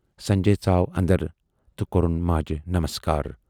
سنجے ژاو اَندر تہٕ کورُن ماجہِ نمسکار۔